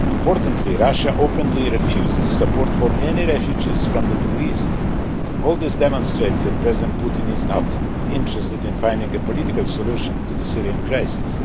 Importantly, Russia openly refuses support for any refugees from the Middle East. All this demonstrates that President Putin is not interested in finding a political solution to the Syrian crisis.